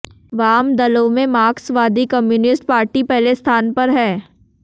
वाम दलों में मार्क्सवादी कम्युनिस्ट पार्टी पहले स्थान पर है